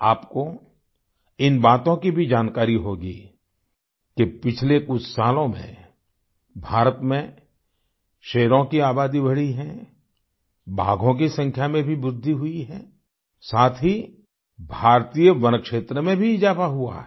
आपको इन बातों की भी जानकारी होगी कि पिछले कुछ सालों में भारत में शेरों की आबादी बढ़ी है बाघों की संख्या में भी वृद्धि हुई है साथ ही भारतीय वनक्षेत्र में भी इजाफा हुआ है